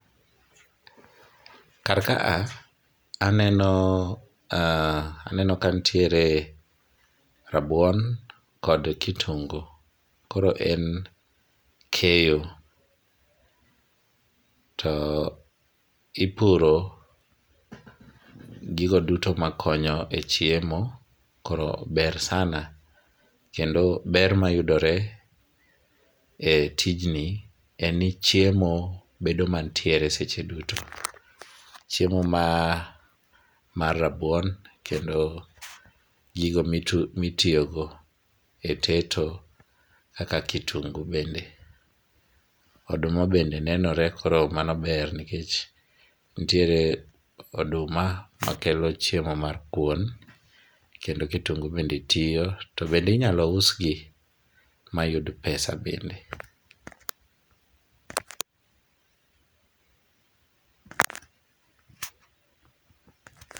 Kar ka, aneno ,aneno ka nitiere rabuon kod kitungu koro en keyo, to ipuro gigo duto makonyo e chiemo, koro ber sana ,kendo ber mayudore e tijni en ni chiemo bedo mantiere seche duto. Chiemo mar rabuon kendo gigo mitiyo go e teto kaka kitungu bende, oduma bende nenore koro mano ber nikech nitiere oduma makelo chiemo mar kuon, kendo kitungu bende tiyo to bende inyalo usgi mayud pesa bende